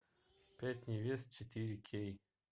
пять невест четыре кей